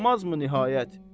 bulmazmı nihayət?